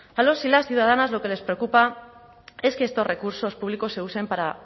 a los y las ciudadanas lo que les preocupa es que estos recursos públicos se usen para